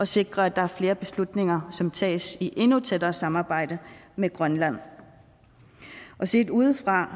sikre at der er flere beslutninger som tages i endnu tættere samarbejde med grønland set udefra